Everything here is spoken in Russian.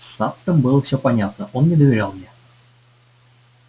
с саттом было всё понятно он не доверял мне